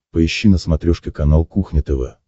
поищи на смотрешке канал кухня тв